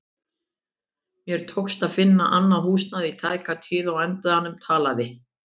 Mér tókst ekki að finna annað húsnæði í tæka tíð og á endanum talaði